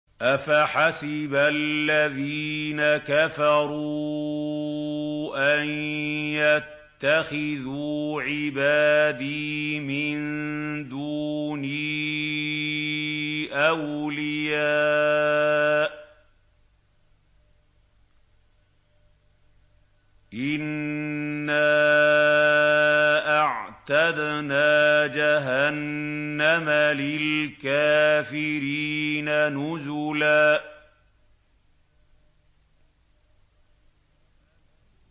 أَفَحَسِبَ الَّذِينَ كَفَرُوا أَن يَتَّخِذُوا عِبَادِي مِن دُونِي أَوْلِيَاءَ ۚ إِنَّا أَعْتَدْنَا جَهَنَّمَ لِلْكَافِرِينَ نُزُلًا